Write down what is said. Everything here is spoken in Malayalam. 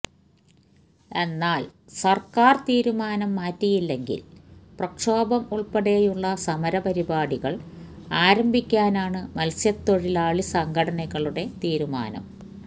എന്നാല് സര്ക്കാര് തീരുമാനം മാറ്റിയില്ലെങ്കില് പ്രക്ഷോഭം ഉള്പ്പെടെയുള്ള സമരപരിപാടികള് അരംഭിക്കാനാണ് മല്സ്യത്തൊഴിലാളി സംഘടനകളുടെ തീരുമാനം